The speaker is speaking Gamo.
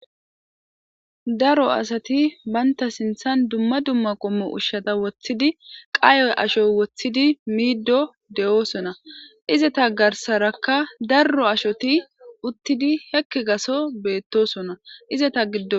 Daro asati bantta sinthathan dumma dumma qommo ushsha woththidi,qaye asho woththidi miido de'osonna. Izeta garssarakka daro ashoti uttidi sekki gatho bettosonna. Izeta giddon...